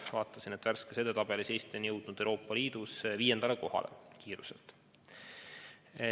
Vaatasin, et värskes edetabelis on Eesti jõudnud Euroopa Liidus vaktsineerimise kiiruselt viiendale kohale.